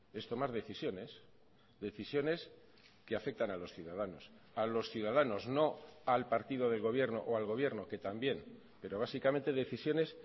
es tomar decisiones decisiones que afectan a los ciudadanos a los ciudadanos no al partido del gobierno o al gobierno que también pero básicamente decisiones